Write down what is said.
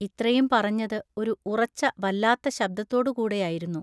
ഇത്രയും പറഞ്ഞതു ഒരു ഉറച്ചവല്ലാത്ത ശബ്ദത്തോടു കൂടെയായിരുന്നു.